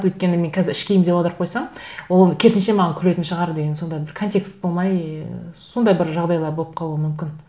өйткені мен қазір іш киім деп аударып қойсам ол керісінше маған күлетін шығар деген сондай бір контекст болмай сондай бір жағдайлар болып қалуы мүмкін